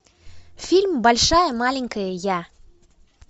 фильм большая маленькая я